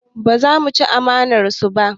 Ba za mu ci amanar su ba